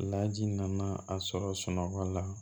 Laji nana a sɔrɔ sunɔgɔ la